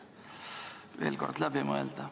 Ehk võiks selle veel kord läbi mõelda.